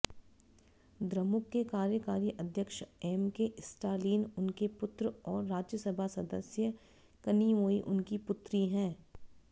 द्रमुक के कार्यकारी अध्यक्ष एमके स्टालिन उनके पुत्र और राज्यसभा सदस्य कनिमोई उनकी पुत्री हैं